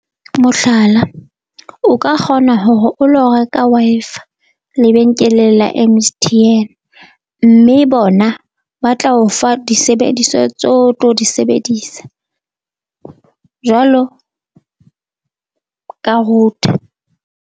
Mohlala, o ka kgona hore o lo reka Wi-Fi lebenkele la M_S_T_N, mme bona ba tla o fa disebediswa tse o tlo di sebedisa jwalo ka router.